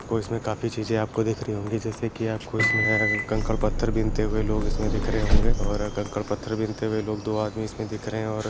आपको इसमें काफी चीजें आपको दिख रही होंगी जैसे कि आपको इसमे अ कंकड़ पत्थर बिनते हुए लोग इसमें दिख रहे होंगे और अ कंकड़ पत्थर बिनते हुए दो आदमी इसमें दिख रहे हैं और --